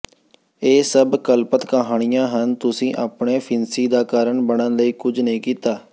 ਇਹ ਸਭ ਕਲਪਤ ਕਹਾਣੀਆਂ ਹਨ ਤੁਸੀਂ ਆਪਣੇ ਫਿਣਸੀ ਦਾ ਕਾਰਨ ਬਣਨ ਲਈ ਕੁਝ ਨਹੀਂ ਕੀਤਾ